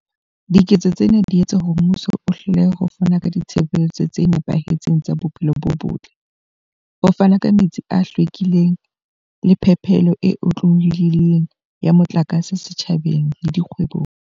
Diketso tsena di etsa hore mmuso o hlolehe ho fana ka ditshebeletso tse nepahetseng tsa bophelo bo botle, ho fana ka metsi a hlwekileng le phepelo e otlolohileng ya motlakase setjhabeng le dikgwebong.